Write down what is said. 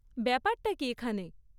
ব্যাপারটা কী এখানে?